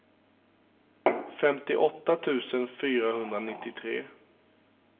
femtioåtta tusen fyrahundranittiotre